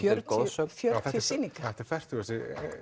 goðsögn fjörutíu sýningar þetta er fertugasti